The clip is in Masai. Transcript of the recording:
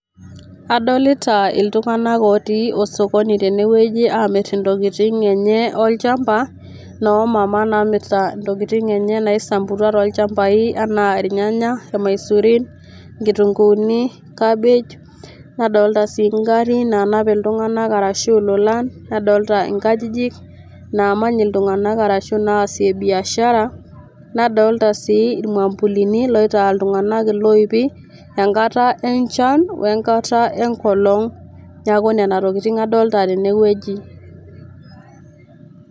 Adolita iltunganak otii osokoni tene wueji amir intokitin enye olchamba , noomama namirta intokitin enye naisamputua tolchambai anaa irnyanya irmaisurin , nkitunguuni ,cabbage, nadolta sii ngarin nanap iltunganak arashu ilolan, nadolta nkajijik namany iltunganak arashu naasie biashara , nadolta sii irmwambulini loitaa iltunganak iloipi enkata enchan we enkata enkolong . Niaku nena tokitin adolita tene wueji.